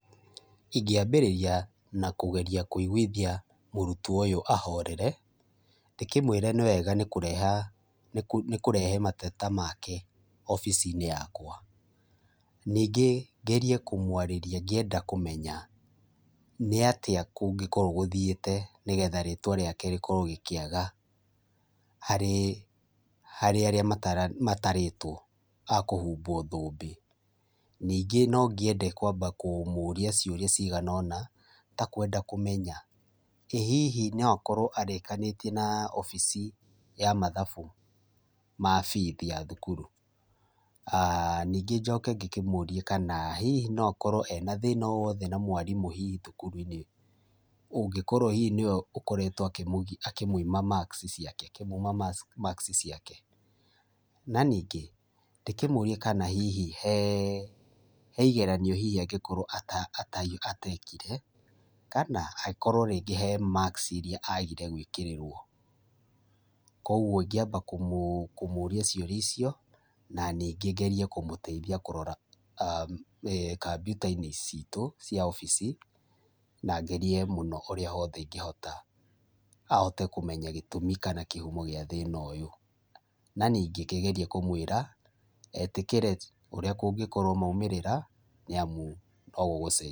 Ingĩambĩrĩria na kũgeria kũiguithia mũrutwo ũyũ ahorere. Ndĩkĩmwĩre nĩwega nĩkũreha nĩkũrehe mateta make obici-inĩ yakwa. Ningĩ ngerie kũmwarĩria ngĩenda kũmenya nĩatĩa kũngĩkorwo gũthiĩte nĩgetha rĩtwa rĩake rĩkorwo rĩkĩaga harĩ harĩ arĩa matarĩtwo a kũhumbwo thũmbĩ. Ningĩ no ngĩende kwamba kũmũria ciũria cigana ũna ta kwenda kũmenya, ĩ hihi no akorwo arĩkanĩtie na obici ya mathabu ma bithi ya thukuru. Ningĩ njoke ngĩkĩmũrie kana hihi no akorwo ena thĩna o wothe na mwarimũ hihi thukuru-inĩ ũngĩkorwo hihi nĩwe ũkoretwo akĩmũima marks ciake, akĩmũima marks ciake. Na ningĩ ndĩkũmĩrie kana hihi hee he igeranio angĩkorwo atekire kana akorwo rĩngĩ he marks iria agire gwĩkĩrĩrwo. Kuoguo ingĩamba kũmũria ciũria icio, na ningĩ ngerie kũmũteithia kũrora kompiuta-inĩ citũ cia obici, na ngerie mũno ũrĩa wothe ingĩhota, ahote kũmenya gĩtumi kana kĩhumo gĩa thĩna ũyũ. Na ningĩ ngĩgerie kũmwĩra etĩkĩre ũrĩa kũngĩkorwo maumĩrĩra, nĩamu no gũgũcenjia.